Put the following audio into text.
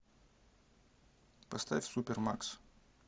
поставь супермакс